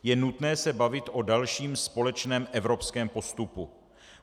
Je nutné se bavit o dalším společném evropském postupu.